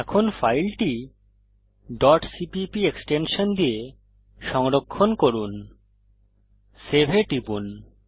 এখন ফাইলটি cpp extension দিয়ে সংরক্ষণ করুন এবং সেভ এ টিপুন